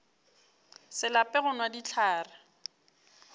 se lape go nwa dihlare